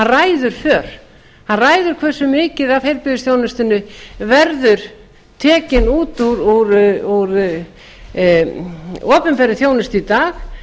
ræður för hann ræður hversu mikið af heilbrigðisþjónustunni verður tekin út úr opinberri þjónustu í dag